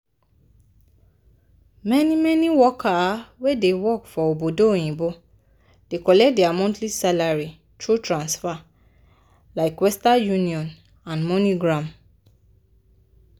many-many workers wey dey work for obodo oyinbo dey collect dia monthly salary thru transfa- like western union and moneygram.